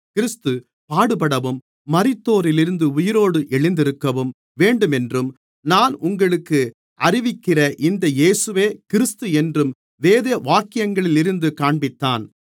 கிறிஸ்து பாடுபடவும் மரித்தோரிலிருந்து உயிரோடு எழுந்திருக்கவும் வேண்டுமென்றும் நான் உங்களுக்கு அறிவிக்கிற இந்த இயேசுவே கிறிஸ்து என்றும் வேதவாக்கியங்களிலிருந்து காண்பித்தான்